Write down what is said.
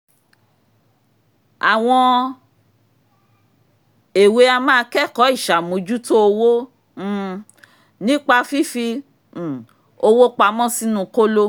àwọn èwe a máa kẹ́kọ̀ọ́ ìṣàmójútó owó um nípa fífi um owó pamọ́ sínu kóló